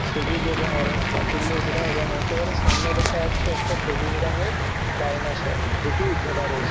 সবুজ এবং অরেঞ্জ পাঁচিল দিয়ে ঘেরা এবং একেবারে সামনে দেখা যাচ্ছে একটা সবুজ রঙের ডাইনোসর যেটি ঘেরা রয়েছে।